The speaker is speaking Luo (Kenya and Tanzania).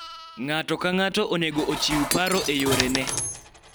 ng'ato ka ng'ato onego ochiw paro e yore ne